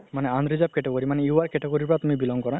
মানে unreserved category মানে UR ৰ category ৰ পৰা belong কৰা